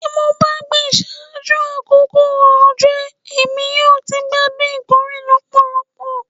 Ti mo ba gbin ṣaaju akoko ojo Emi yoo ti gbadun ikore lọpọlọpọ